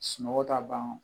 Sunɔgɔ ta ban